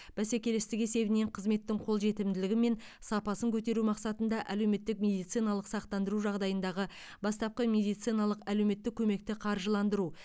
бәсекелестік есебінен қызметтің қолжетімділігі мен сапасын көтеру мақсатында әлеуметтік медициналық сақтандыру жағдайындағы бастапқы медициналық әлеуметтік көмекті қаржыландыру